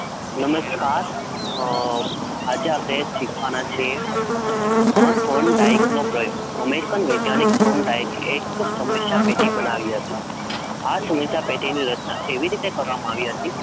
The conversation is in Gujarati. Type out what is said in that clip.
નમસ્કાર આજે આપણે શીખવાના છીએ Thorndike નો પ્રયોગ American વૈજ્ઞાનિક Thorndike એ એક સમસ્યા પેટી બનાવી હતી આ સમસ્યા પેટીની રચના એવી રીતે કરવામાં આવી હતી